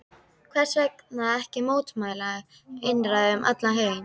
Hversvegna ekki mótmæla einræði um allan heim?